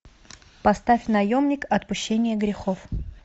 поставь наемник отпущение грехов